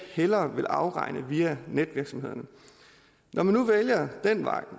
hellere vil afregne via netvirksomhederne når man nu vælger den vej